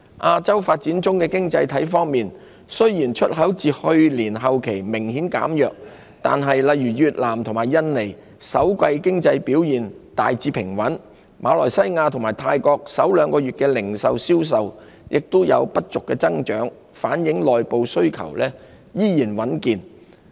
亞洲發展中的經濟體方面，雖然出口自去年後期明顯減弱，但例如越南和印尼，首季經濟表現大致平穩；馬來西亞和泰國首兩月的零售銷售也有不俗增長，反映內部需求仍然穩健。